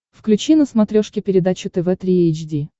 включи на смотрешке передачу тв три эйч ди